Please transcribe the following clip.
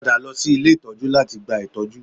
Padà lọ sí ilé ìtọ́jú láti gba ìtọ́jú